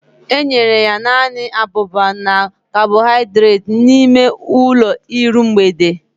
Enyere ya naanị abụba na kabọhaidreeti n'ime ụlọ iru mgbede